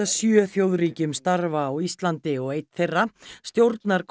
sjö þjóðríkjum starfa á Íslandi og einn þeirra stjórnar